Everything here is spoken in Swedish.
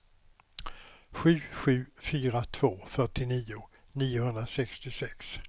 sju sju fyra två fyrtionio niohundrasextiosex